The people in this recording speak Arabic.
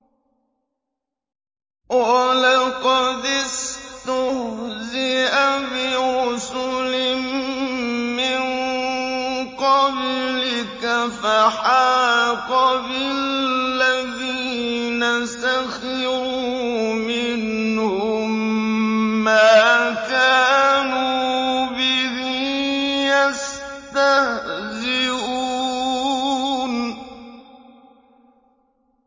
وَلَقَدِ اسْتُهْزِئَ بِرُسُلٍ مِّن قَبْلِكَ فَحَاقَ بِالَّذِينَ سَخِرُوا مِنْهُم مَّا كَانُوا بِهِ يَسْتَهْزِئُونَ